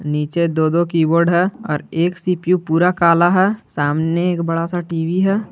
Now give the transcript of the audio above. नीचे दो दो कीबोर्ड है और एक सी_पी_यू पूरा काला है सामने एक बड़ा सा टी_वी है।